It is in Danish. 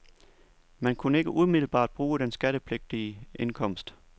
Man kunne ikke umiddelbart bruge den skattepligtige indkomst.